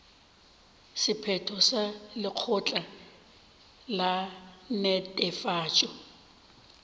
sephetho sa lekgotla la netefatšo